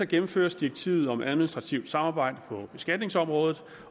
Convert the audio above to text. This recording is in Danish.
gennemføres direktivet om administrativt samarbejde på beskatningsområdet